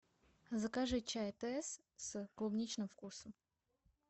закажи чай тесс с клубничным вкусом